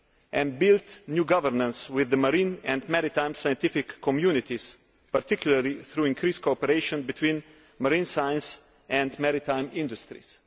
and build new governance with the marine and maritime scientific communities, particularly through increased cooperation between marine science and maritime industries.